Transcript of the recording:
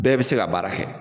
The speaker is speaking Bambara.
Bɛɛ bɛ se ka baara kɛ.